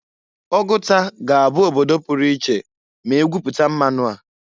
Oguta ga -abụ obodo puru iche ma egwuputa mmanụ a.